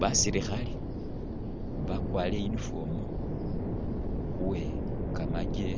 Basilikhale bakwarire uniform uwe kamaje